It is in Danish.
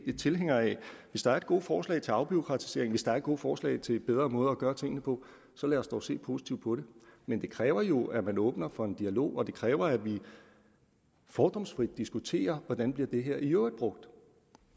hvis der er gode forslag til afbureaukratisering hvis der er gode forslag til bedre måder at gøre tingene på så lad os dog se positivt på dem men det kræver jo at man åbner for en dialog og det kræver at vi fordomsfrit diskuterer hvordan det her i øvrigt bliver brugt